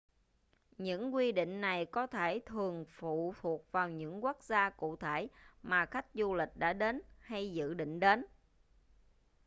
những quy định này có thể thường phụ thuộc vào những quốc gia cụ thể mà khách du lịch đã đến hay dự định đến